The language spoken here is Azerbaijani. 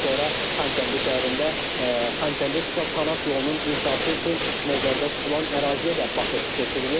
Daha sonra Xankəndi şəhərində Xankəndi-Şuşa kanat yolunun inşası üçün nəzərdə tutulan əraziyə də baxış keçirilib.